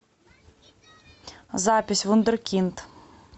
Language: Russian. запись вундеркинд